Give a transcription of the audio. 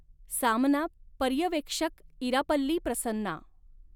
सामना पर्यवेक्षकःइरापल्ली प्रसन्ना